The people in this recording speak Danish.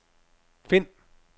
find